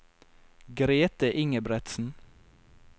Grete Ingebretsen